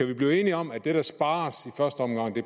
vi blive enige om at det der spares